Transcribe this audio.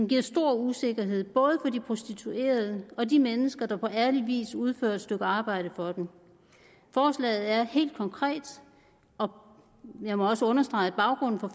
giver stor usikkerhed både for de prostituerede og de mennesker der på ærlig vis udfører et stykke arbejde for dem forslaget er helt konkret og jeg må også understrege at baggrunden for